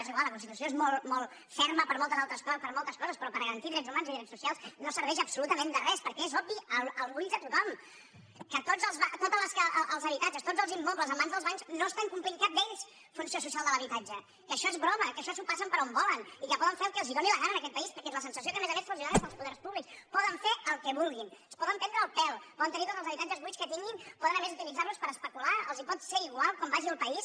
és igual la constitució és molt ferma per moltes altres co·ses per moltes coses però per garantir drets humans i drets socials no serveix absolutament de res perquè és obvi a l’ull de tothom que tots els habitatges tots els immobles en mans dels bancs no estan complint cap d’ells funció social de l’habitatge que això és broma que això s’ho passen per on volen i que poden fer el que els doni la gana en aquest país perquè és la sen·sació que a més a més se’ls dóna des dels poders pú·blics poden fer el que vulguin ens poden prendre el pèl poden tenir tots els habitatges buits que tinguin poden a més utilitzar·los per especular els pot ser igual com vagi el país